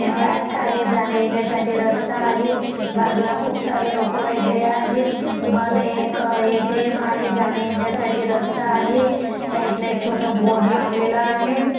Bank आहे. जाण्यायेण्यासाठी रस्ता आहे. बाजूला खुप सारे लोक आहे वगैरे आहेत. मध्ये एक एटीएम आहे. जाण्यायेण्यासाठी रस्ता आहे. साइड ला एक छोट बोर्ड लावलेल आहे.